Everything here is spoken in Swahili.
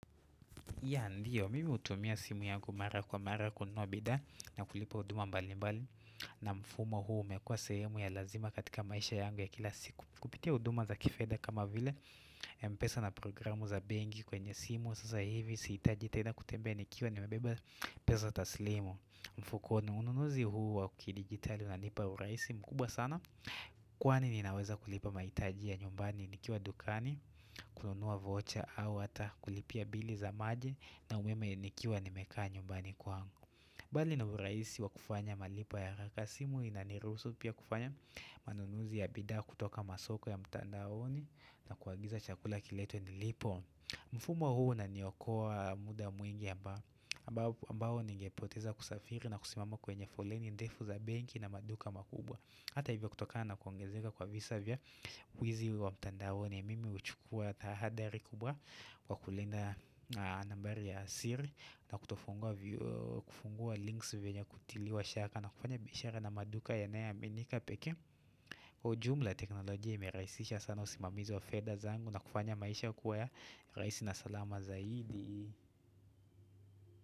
Ya ndiyo, mimi hutumia simu yangu mara kwa mara kununua bidhaa na kulipa huduma mbali mbali na mfumo huu umekua sehemu ya lazima katika maisha yangu ya kila siku Kupitia huduma za kifedha kama vile mpesa na programu za bengi kwenye simu Sasa hivi, sihitaji tena kutembea nikiwa nimebeba pesa taslimu mfukoni, ununuzi huu wa kidigitali unanipa uraisi mkubwa sana Kwani ninaweza kulipa mahitaji ya nyumbani ni kiwa dukani kununuwa vocha au hata kulipia bili za maji na umeme nikiwa nimekaa nyumbani kwangu Bali na uraisi wa kufanya malipo ya haraka simu inanirusu pia kufanya manunuzi ya bida kutoka masoko ya mtandaoni na kuagiza chakula kiletwe nilipo mfumo huu unaniokoa muda mwingi ambao ningepoteza kusafiri na kusimama kwenye foleni ndefu za benki na maduka makubwa Hata hivyo kutokana na kuongezeka kwa visa vya wizi wa mtandaoni mimi huchukua tahadari kubwa wakulinda nambari ya siri na kufungua links vyenye kutiliwa shaka na kufanya bishara na maduka yanae aminika pekee Kwa ujumla teknolojia imeraisisha sana usimamizi wa fedha zangu na kufanya maisha kuwa ya raisi na salama zaidi.